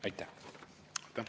Aitäh!